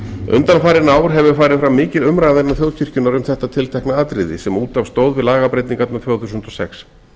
undanfarin ár hefur farið fram mikil umræða innan þjóðkirkjunnar um þetta tiltekna atriði sem út af stóð við lagabreytingarnar tvö þúsund og sex